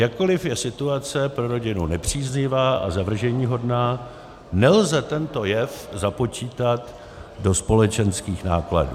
Jakkoliv je situace pro rodinu nepříznivá a zavrženíhodná, nelze tento jev započítat do společenských nákladů.